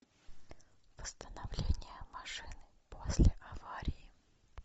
восстановление машины после аварии